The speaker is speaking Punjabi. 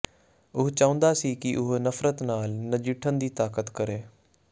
ਉਹ ਚਾਹੁੰਦਾ ਸੀ ਕਿ ਉਹ ਨਫ਼ਰਤ ਨਾਲ ਨਜਿੱਠਣ ਦੀ ਤਾਕਤ ਕਰੇ